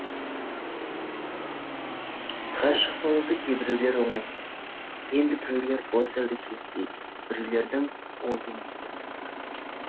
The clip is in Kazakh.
ғашық болуды кейбіреулер оңай дейді енді біреулер бос әурешілік дейді біреулердің ойы мүлдем басқа